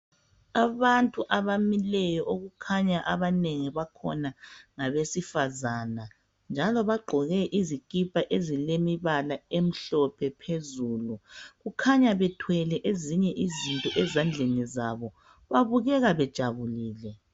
Abantu abamileyo abanengi bakhona okukhanya ngabesifazana njalo bagqoke izikipa ezilombala omhlophe phezulu kukhanya bethwele ezinye izinto ezandleni zabo babukeka bejabulile